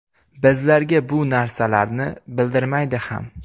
Bizlarga bu narsalarni bildirmaydi ham.